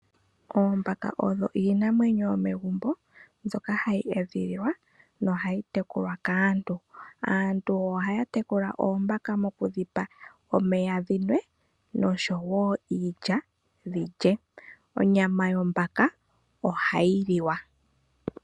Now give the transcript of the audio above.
Oombaka odho iinamwenyo yomegumbo mbyono hayi edhililwa no ohayi tekulwa kaantu. Aantu ohaya tekula oombaka mokudhipa omeya dhinwe niilya dhilye, onyama yo mbaka ohayi liwa.